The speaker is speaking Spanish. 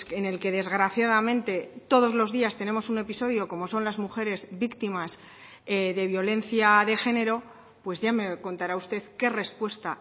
en el que desgraciadamente todos los días tenemos un episodio como son las mujeres víctimas de violencia de género pues ya me contará usted qué respuesta